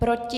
Proti?